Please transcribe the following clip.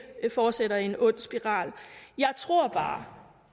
fortsætter i en ond spiral jeg tror bare